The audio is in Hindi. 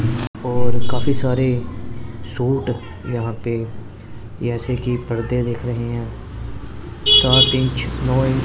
और काफी सारे सूट यहां पे ऐसे कि पर्दे दिख रहे हैं सात इंच नौ इंच --